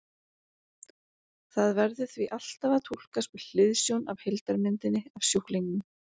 Það verður því alltaf að túlkast með hliðsjón af heildarmyndinni af sjúklingnum.